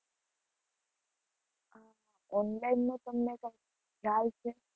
Online નો તમને કઈ ખ્યાલ છે?